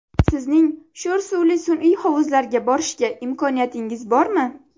Sizning sho‘r suvli sun’iy hovuzlarga borishga imkoniyatingiz bormi?